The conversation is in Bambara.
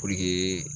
Puruke